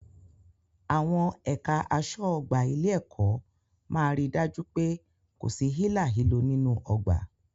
Àwọn ẹ̀ka aṣọ́ ọgbà ilé-ẹ̀kọ́ máa ri dájú pé kò sí hílàhílo nínú ọgbà.